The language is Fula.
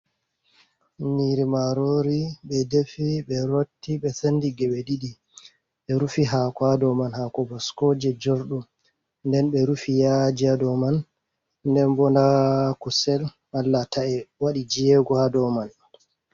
Nyiri marori ɓe defi ɓe rotti ɓe sendi geɓe ɗiɗi, Ɓe rufi hako ha dow maan, hako baskoje jorɗum, Nden ɓe rufi yaji ha dow man, nden bo nda kusel malla tae waɗi jego ha dow man.